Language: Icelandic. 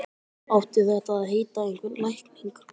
Átti þetta að heita einhver lækning?